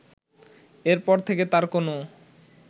এর পর থেকে তার কোনো